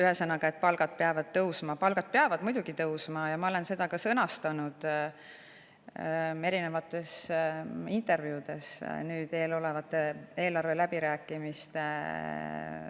Ühesõnaga, palgad peavad tõusma, palgad peavad muidugi tõusma ja ma olen seda sõnastanud erinevates intervjuudes eesseisvate eelarveläbirääkimiste fookuses.